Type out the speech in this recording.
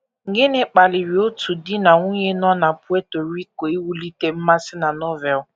Gịnị kpaliri otu di na nwunye nọ na Puerto Rico iwulite mmasị na Novel?